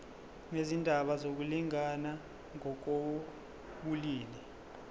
nezindaba zokulingana ngokobulili